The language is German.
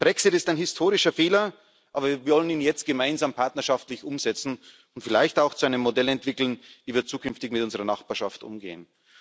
Der Brexit ist ein historischer Fehler, aber wir wollen ihn jetzt gemeinsam partnerschaftlich umsetzen und vielleicht auch zu einem Modell entwickeln, wie wir zukünftig mit unserer Nachbarschaft umgehen.